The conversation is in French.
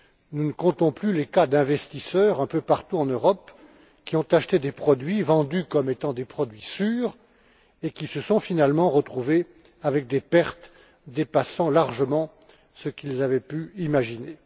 Nous ne comptons plus les cas d'investisseurs, un peu partout en Europe, qui ont acheté des produits vendus comme étant des produits sûrs et qui se sont finalement retrouvés avec des pertes dépassant largement ce qu'ils avaient pu imaginer.